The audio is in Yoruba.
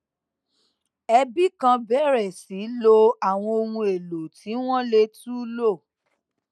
ẹbi kan bèrè sí lo àwọn ohun èlò tí wón lè tún lò